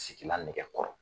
Sigina nɛgɛ kɔrɔ